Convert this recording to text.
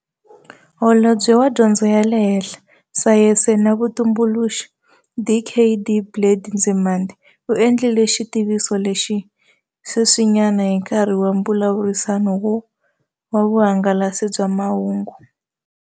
Holobye wa Dyondzo ya le Henhla, Sayense na Vutumbuluxi, Dkd Blade Nzimande, u endlile xitiviso lexi sweswinyana hi nkarhi wa mbulavurisano wa vuhangalasi bya mahungu.